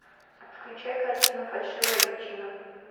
включай картину фальшивая личина